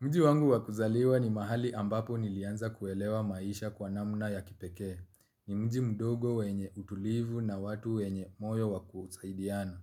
Mji wangu wakuzaliwa ni mahali ambapo nilianza kuelewa maisha kwa namna ya kipekee. Ni mji mdogo wenye utulivu na watu wenye moyo wakusaidiana.